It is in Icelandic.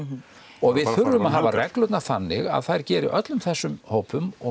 og við þurfum að hafa reglurnar þannig að þær geri öllum þessum hópum